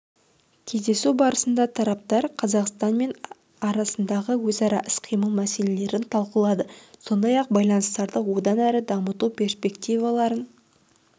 кездесу барысында тараптар қазақстан мен арасындағы өзара іс-қимыл мәселелерін талқылады сондай-ақ байланыстарды одан әрі дамыту перспективаларын